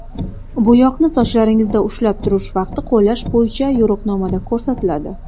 Bo‘yoqni sochlaringizda ushlab turish vaqti qo‘llash bo‘yicha yo‘riqnomada ko‘rsatiladi.